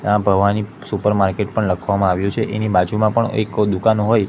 આ ભવાની સુપરમાર્કેટ પણ લખવામાં આવ્યુ છે એની બાજુમાં પણ એક દુકાન હોય--